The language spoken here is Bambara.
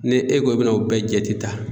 Ni e ko i bɛna o bɛɛ jate ta